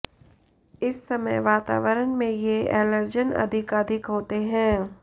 इस समय वातावरण में ये एलर्जन अधिकाधिक होते हैं